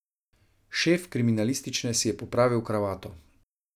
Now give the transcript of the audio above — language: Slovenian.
Šef kriminalistične si je popravil kravato.